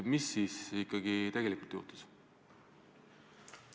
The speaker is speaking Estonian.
Mis siis ikkagi tegelikult juhtus?